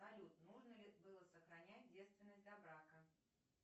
салют нужно ли было сохранять девственность до брака